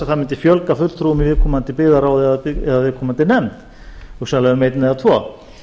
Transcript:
það mundi fjölga fulltrúum í viðkomandi byggðarráð eða viðkomandi nefnd hugsanlega um einn eða tvo